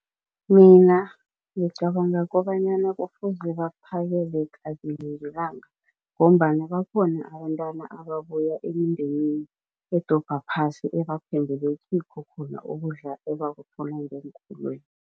Mina ngicabanga kobanyana kufuze baphakele kabili ngelanga ngombana bakhona abentwana ababuya emindenini edobha phasi ebathembele kikho khona ukudla ebakuthola ngeenkolweni.